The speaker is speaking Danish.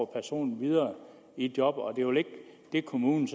personen videre i et job og kommunen